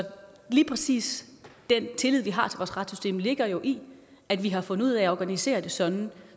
lige præcis den tillid vi har til vores retssystem ligger jo i at vi har fundet ud af at organisere det sådan